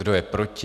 Kdo je proti?